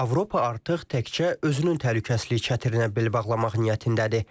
Avropa artıq təkcə özünün təhlükəsizliyi çətirinə bel bağlamaq niyyətindədir.